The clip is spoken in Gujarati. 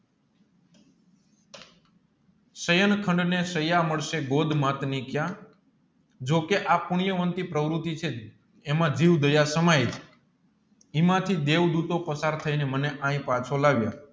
શયન ખંડ ને સયા મળશે ક્યા જોકે આ પુણ્ય વંતી પ્રવૃત્તિ છે એના જીવ દયા સમય હિમાંથી દેવદુતો પસાર અમને અહીં પાછો લાવ્યા